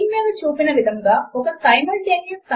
మరియు క్రొత్త mark up screen మీద చూపిన విధముగా కనిపిస్తుంది